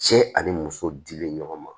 Cɛ ani muso dilen ɲɔgɔn ma